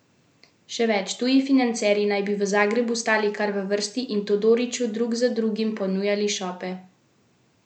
Še več, tuji financerji naj bi v Zagrebu stali kar v vrsti in Todoriću drug za drugim ponujali šope denarja.